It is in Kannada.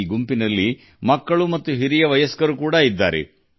ಈ ಗುಂಪಿನಲ್ಲಿ ಮಕ್ಕಳು ಹಾಗೂ ಹಿರಿಯರು ಇದ್ದಾರೆ